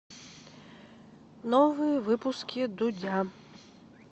новые выпуски дудя